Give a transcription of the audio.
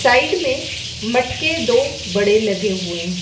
Side में मटके दो बड़े लगे हुए हैं।